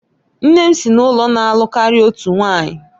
Nne m si n'ụlọ na-alụ karịa otu nwanyị